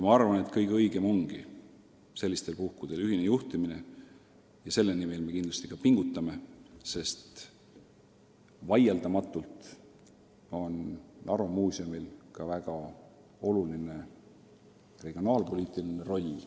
Arvan, et kõige õigem ongi sellistel puhkusel ühine juhtimine, ja selle nimel me kindlasti ka pingutame, sest vaieldamatult on Narva Muuseumil ka väga oluline regionaalpoliitiline roll.